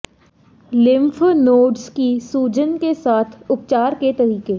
lymph nodes की सूजन के साथ उपचार के तरीके